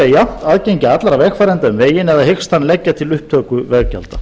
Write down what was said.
jafnt aðgengi allra vegfarenda um veginn eða hyggst hann leggja til upptöku veggjalda